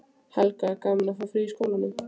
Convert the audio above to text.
Helga: Gaman að fá frí í skólanum?